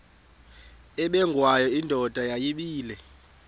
ubengwayo indoda yayibile